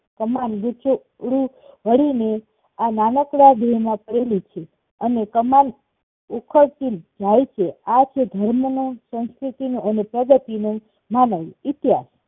તમારી ઉંચે ઉડવું હોઈ ને આ નાનક્ડા જીવમાં પડેલી છે અને કમાન્ડ ઉખડતી જાય છે આ છે ધર્મો નો સંસકૃતિનો અને પ્રગતિ નો એવો ઇતિહાસ